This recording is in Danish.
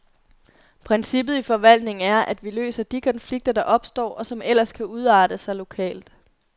Princippet i forvaltningen er, at vi løser de konflikter, der opstår, og som ellers kan udarte sig, lokalt.